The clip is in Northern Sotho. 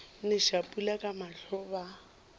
neša pula ka mahlo ba